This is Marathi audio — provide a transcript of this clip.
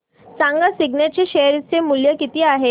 सांगा सिग्नेट चे शेअर चे मूल्य किती आहे